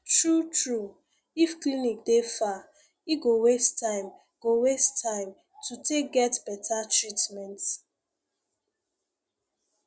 true true if clinic dey far e go waste time go waste time to take get better treatment